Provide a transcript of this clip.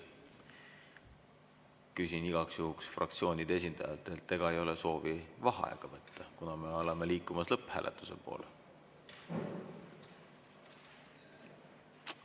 Küsin igaks juhuks fraktsioonide esindajatelt, ega ei ole soovi võtta vaheaega, kuna me oleme liikumas lõpphääletuse poole.